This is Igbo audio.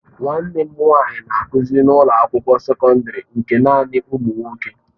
Nwanne m nwanyị na-akụzi na ụlọ akwụkwọ sekọndrị nke naanị ụmụ nwoke.